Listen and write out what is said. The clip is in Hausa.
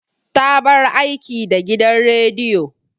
Ta bar aiki da gidan rediyo.